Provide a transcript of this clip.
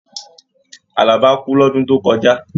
Àlàbá kú lọ́dún tó kọjá.